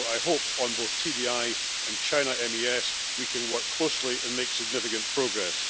So I hope that, on both TDI and China's MES, we can work closely and make significant progress.